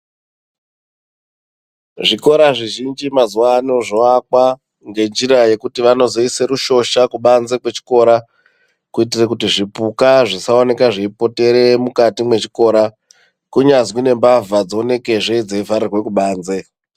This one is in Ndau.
Zvikora zvizhinji mazuva ano zvoakwa ngenjira yekuti vanozoisa rushoshakubanze kwechikora. Kuitira kuti zvipuka zvisaoneka zveipotere mukati mechikora kunyazwi nembavha dzionekezve dzeivharirwa kubanze